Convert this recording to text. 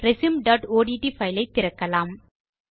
resumeஒட்ட் file ஐ திறக்கலாம்